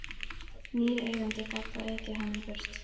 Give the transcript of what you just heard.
Nýr eigandi gat þá ekið honum burt.